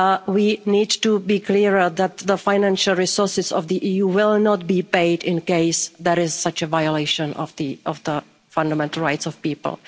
people. We need to be clearer that the financial resources of the EU will not be paid in case there is such a violation of the fundamental rights of